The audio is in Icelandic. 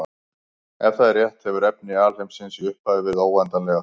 Ef það er rétt hefur efni alheimsins í upphafi verið óendanlega þétt.